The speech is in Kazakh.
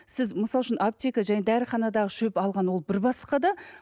сіз мысал үшін аптека және дәріханадағы шөп алған ол бір басқа да